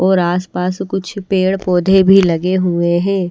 और आसपास कुछ पेड़-पौधे भी लगे हुए हैं।